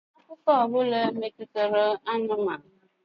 Ị ma akụkọ ọ bụla metụtara anụmanụ?